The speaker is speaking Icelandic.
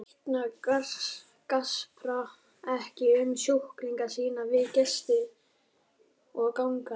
Læknar gaspra ekki um sjúklinga sína við gesti og gangandi.